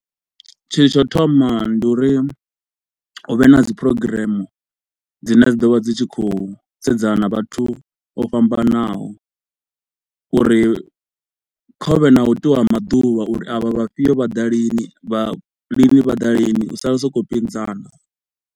Tshithu tsha u thoma ndi uri hu vhe na dzi program dzine dzi ḓovha dzi tshi khou sedzana na vhathu vho fhambanaho, uri kha huvhe na u itiwa maḓuvha uri avha vhafhio vha ḓa lini, vhafhio vha ḓa lini sokou pinzana.